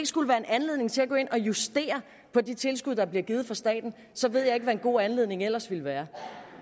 skulle være en anledning til at gå ind og justere på de tilskud der bliver givet fra statens så ved jeg ikke hvad en god anledning ellers ville være